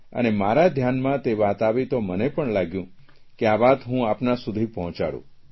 અને મારા ધ્યાનમાં તે વાત આવી તો મને પણ લાગ્યું કે આ વાત હું આપના સુધી પહોંચાડું